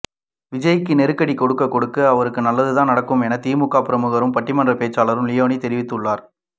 விஜய்க்கு நெருக்கடி கொடுக்க கொடுக்க அவருக்கு நல்லது தான் என திமுக பிரமுகரும் பட்டிமன்ற பேச்சாளருமான லியோனி தெரிவித்துள்ளார்